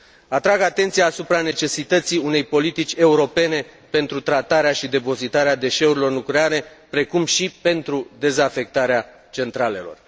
Atrag atenția asupra necesității unei politici europene pentru tratarea și depozitarea deșeurilor nucleare, precum și pentru dezafectarea centralelor.